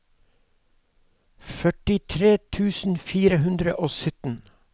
førtitre tusen fire hundre og sytten